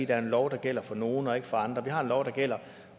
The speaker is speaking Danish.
det er en lov der gælder for nogle og ikke for andre vi har en lov der gælder